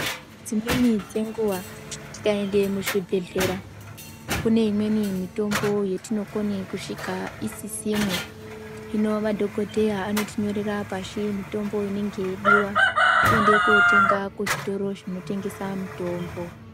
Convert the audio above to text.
Dzimweni dzenguva tikaende kuzvibhedhlera kune imweni mitombo yatinogone kusvika isisimo, zvino madhokodheya anotinyorera pasi mitombo inenge yeidiwa kuende kunotenga kuzvitoro zvinotengesa mitombo.